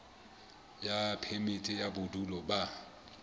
ya phemiti ya bodulo ba